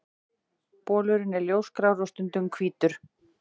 Bolurinn er ljósgrárri og stundum hvítur.